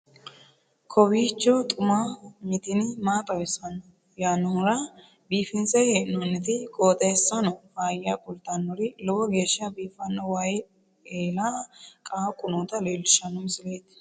kowiicho xuma mtini maa xawissanno yaannohura biifinse haa'noonniti qooxeessano faayya kultannori lowo geeshsha biiffanno wayi eela qaaqu noota leellishshanno misileeti